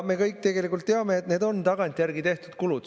Me kõik tegelikult teame, et need on tagantjärgi tehtud kulud.